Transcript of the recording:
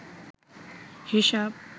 হিসাব